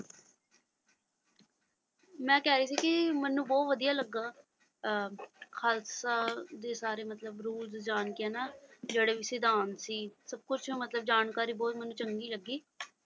ਮੈਂ ਕਹਿ ਰਹੀ ਸੀ ਕਿ ਮੈਨੂੰ ਬਹੁਤ ਵਧੀਆ ਲੱਗਾ ਅਹ ਖ਼ਾਲਸਾ ਦੇ ਸਾਰੇ ਮਤਲਬ ਰੂਲਜ਼ ਜਾਣਕੇ ਨਾ ਜਿਹੜੇ ਵੀ ਸਿਧਾਂਤ ਸੀ ਸਭ ਕੁਛ ਮਤਲਬ ਜਾਣਕਾਰੀ ਬਹੁਤ ਮੈਨੂੰ ਚੰਗੀ ਲੱਗੀ।